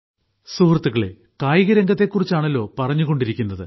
സുഹൃത്തുക്കളെ കായികരംഗത്തെ കുറിച്ചാണല്ലോ പറഞ്ഞുകൊണ്ടിരിക്കുന്നത്